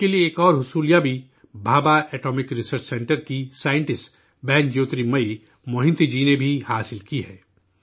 ملک کے لیے ایک اور کامیابی بھابھا ایٹامک ریسرچ سنٹر کی سائنٹسٹ، بہن جیوترمئی موہنتی جی نے بھی حاصل کی ہے